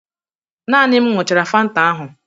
Naani m ñyuchara fanta ahụ